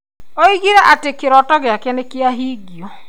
Oigire atĩ kĩroto gĩakwa nĩ kĩahingio.